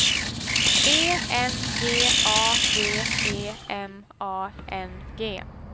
E N G A G E M A N G